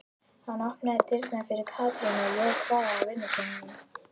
Hann opnaði dyrnar fyrir Katrínu og jók hraðann á vinnukonunum.